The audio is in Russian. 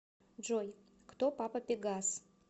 джой кто папа пегас